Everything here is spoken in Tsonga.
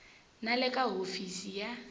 na le ka hofisi ya